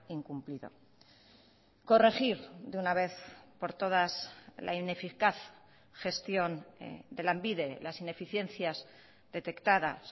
incumplido corregir de una vez por todas la ineficaz gestión de lanbide las ineficiencias detectadas